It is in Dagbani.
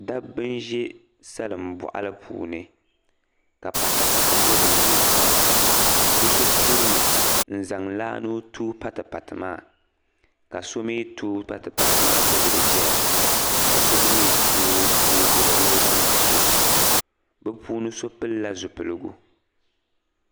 Dabba n-za salimbɔɣili puuni ka patipati be dinni. Bɛ so kurimi n-zaŋ laa ni o tooi patipati maa ka so mi tooi patipati maa gbibi li ʒia ka so gba mi tooi n-gbibi niŋ o zaŋ ti so. Bɛ puuni so pilila zupiligu.